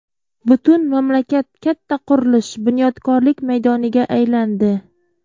Butun mamlakat katta qurilish, bunyodkorlik maydoniga aylandi.